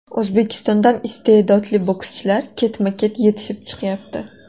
O‘zbekistondan istedodli bokschilar ketma-ket yetishib chiqyapti.